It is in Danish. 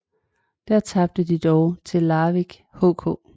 Der tabte de dog til Larvik HK